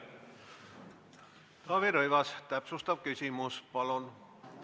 Taavi Rõivas, täpsustav küsimus palun!